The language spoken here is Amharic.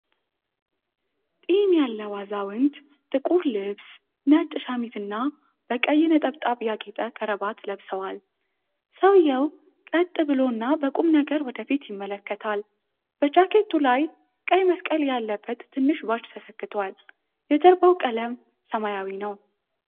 ጢም ያለው አዛውንት ጥቁር ልብስ፣ ነጭ ሸሚዝ እና በቀይ ነጠብጣብ ያጌጠ ክራባት ለብሰዋል። ሰውየው ቀጥ ብሎ እና በቁም ነገር ወደ ፊት ይመለከታል። በጃኬቱ ላይ ቀይ መስቀል ያለበት ትንሽ ባጅ ተሰክቷል፤ የጀርባው ቀለም ሰማያዊ ነው።